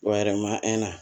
O yɛrɛ ma